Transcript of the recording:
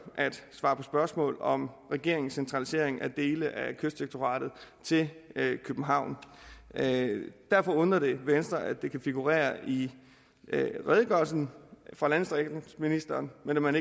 at svare på spørgsmål om regeringens centralisering af dele af kystdirektoratet til københavn derfor undrer det venstre at det kan figurere i redegørelsen fra landdistriktsministeren men at man